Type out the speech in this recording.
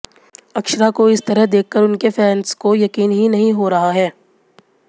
अक्षरा को इस तरह देखकर उनके फैंस को यकीन ही नहीं हो रहा है